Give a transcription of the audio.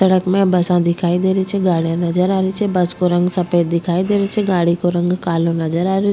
सड़क में बसा दिखाई दे री छे गाड़ीया नजर आ री छे बस को रंग सफ़ेद दिखाई दे रो छे गाड़ी को रंग कालो नज़र आ रो --